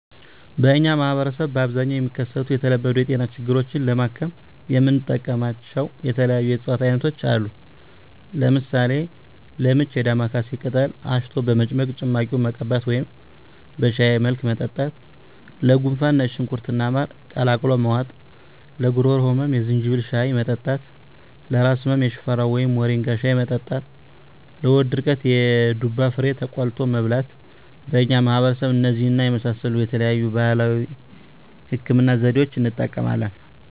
በእኛ ማህበረሰብ በአብዛኛው የሚከሰቱ የተለመዱ የጤና ችግሮችን ለማከም የምንጠቀምባቸው የተለያዩ የእፅዋት አይነቶች አሉ። ለምሳሌ፦ -ለምች የዳማካሴ ቅጠል አሽቶ በመጭመቅ ጭማቂውን መቀባት ወደም በሻይ መልክ መጠጣት -ለጉንፋን ነጭ ሽንኩርት እና ማር ቀላቅሎ መዋጥ -ለጉሮሮ ህመም የዝንጅብል ሻይ መጠጣት -ለራስ ህመም የሽፈራው ወይም ሞሪንጋ ሻይ መጠጣት -ለሆድ ድርቀት የዱባ ፍሬ ተቆልቶ መብላት በእኛ ማህበረሰብ እነዚህን የመሳሰሉ የተለያዩ የባህላዊ ህክምና ዘዴዋችን እንጠቀማለን።